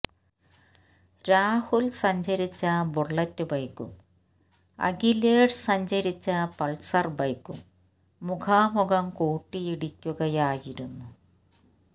രാഹുൽ സഞ്ചരിച്ച ബുള്ളറ്റ് ബൈക്കും അഖിലേഷ് സഞ്ചരിച്ച പൾസർ ബൈക്കും മുഖാമുഖം കൂട്ടിയിടിക്കുകയായിരുന്നു